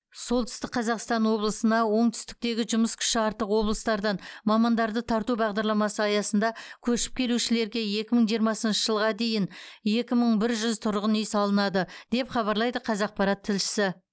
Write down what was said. солтүстік қазақстан облысына оңтүстіктегі жұмыс күші артық облыстардан мамандарды тарту бағдарламасы аясында көшіп келушілерге екі мың жиырмасыншы жылға дейін екі мың бір жүз тұрғын үй салынады деп хабарлайды қазақпарат тілшісі